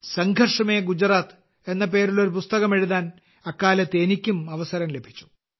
സംഘർഷ് മേ ഗുജറാത്ത് എന്ന പേരിൽ ഒരു പുസ്തകം എഴുതാൻ അക്കാലത്ത് എനിക്കും അവസരം ലഭിച്ചു